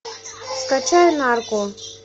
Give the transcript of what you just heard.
скачай нарко